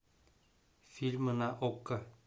фильмы на окко